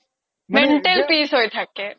mental peace হয় থাকে